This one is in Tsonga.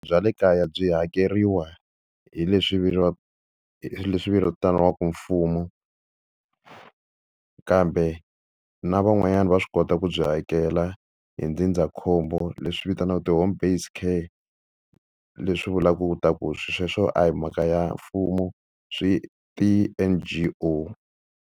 Bya le kaya byi hakeriwa hi leswi leswi vitaniwaka mfumo, kambe na van'wanyana va swi kota ku byi hakela a hi ndzindzakhombo leswi vitaniwaka ti-homebased care. Leswi vulaka leswaku swilo sweswo a hi mhaka ya mfumo swi ti-N_G_O.